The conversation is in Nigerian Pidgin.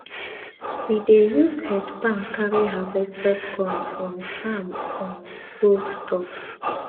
we dey use head pan carry harvested corn from farm um go store